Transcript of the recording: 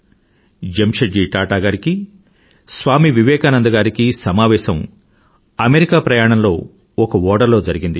జెమ్షెడ్ జీ టాటా గారికీ సమావేసం స్వామి వివేకానంద గారికీ అమెరికా ప్రయణంలో ఒక ఓడలో జరిగింది